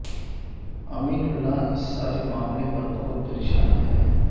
امین اللہ اس سارے معاملے پر بہت پریشان ہے